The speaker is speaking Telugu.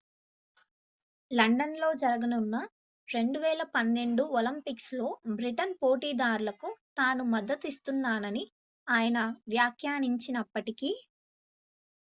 లండన్ లో జరగనున్న 2012 ఒలింపిక్స్ లో బ్రిటన్ పోటీదారులకు తాను మద్దతు నిస్తున్నానని ఆయన వ్యాఖ్యానించినప్పటికీ